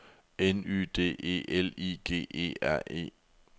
N Y D E L I G E R E